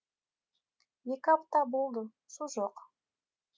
екі апта болды су жоқ